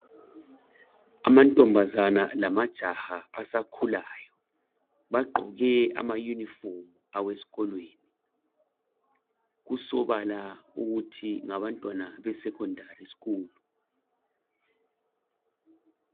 Amantombazana lamajaha asakhulayo bagqoke ama uniform aweskolweni. Kusobala ukuthi ngabantwana beSecondary school.